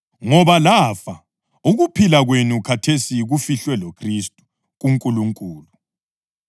Ngoba lafa, ukuphila kwenu khathesi kufihlwe loKhristu kuNkulunkulu.